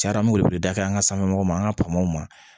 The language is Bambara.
Cayara an me wuli dafɛ an ga sanfɛmɔgɔw ma an ga ma